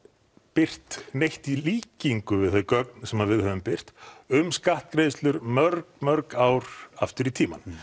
birt neitt í líkingu við þau gögn sem að við höfum birt um skattgreiðslur mörg mörg ár aftur í tímann